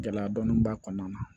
Gɛlɛya dɔɔnin b'a kɔnɔna na